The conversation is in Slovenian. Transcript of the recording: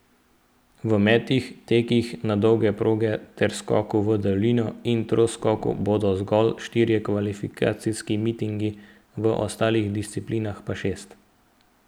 V metih, tekih na dolge proge ter skoku v daljino in troskoku bodo zgolj štirje kvalifikacijski mitingi, v ostalih disciplinah pa šest.